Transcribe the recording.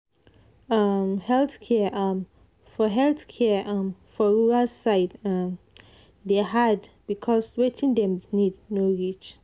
um health care um health care um for rural side um dey hard because wetin dem need no reach.